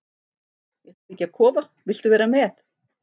Ég ætla að byggja kofa, viltu vera með?